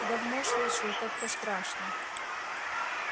давно слышу и как-то страшно